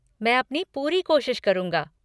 मैं अपनी पूरी कोशिश करूँगा।